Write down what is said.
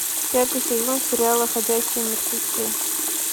пятый сезон сериала ходячие мертвецы